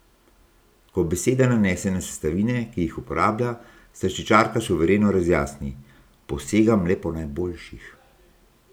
Ko beseda nanese na sestavine, ki jih uporablja, slaščičarka suvereno razjasni: "Posegam le po najboljših.